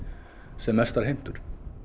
sem mestar heimtur